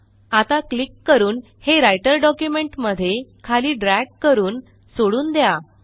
आता क्लिक करून हे राइटर डॉक्युमेंट मध्ये खाली ड्रॅग करून सोडून द्या